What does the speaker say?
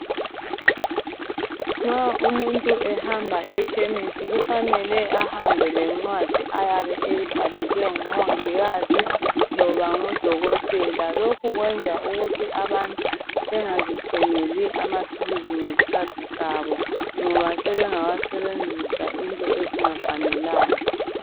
Nxa umuntu ehamba ekhemisi ,kufanele ahambe lencwadi ayabe eyibhalelwe ngumongikazi loba ngudokothela lokhu kwenza ukuthi abantu bengazithengeli amaphilizi ngesikhathi sabo .Ngoba sebengawasebenzisa into ezingafanelanga.